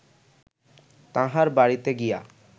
তাঁহার বাড়ীতে গিয়া